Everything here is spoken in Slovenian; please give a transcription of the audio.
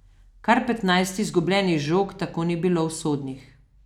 Kar petnajst izgubljenih žog tako ni bilo usodnih.